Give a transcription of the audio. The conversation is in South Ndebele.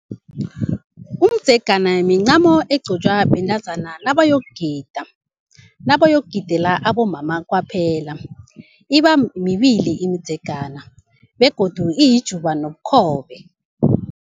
Umdzegana mincamo egqokwa bentazana nabayokugida, nabayokugidela abomama kwaphela. Ibamibili imidzigana begodu iyijuba nobukhobe.